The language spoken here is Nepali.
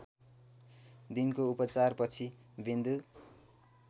दिनको उपचारपछि विन्दु